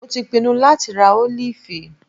Mo tí pinnu láti rá ólífì.